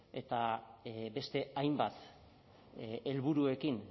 eta beste hainbat helburuekin